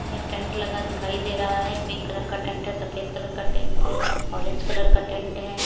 एक टेंट लगा दिखाई दे रहा है पिंक कलर का टेंट है सफेद कलर का टेंट है ऑरेंज कलर का टेंट है।